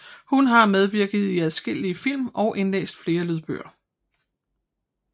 Hun har medvirket i adskillige film og indlæst flere lydbøger